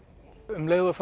um leið og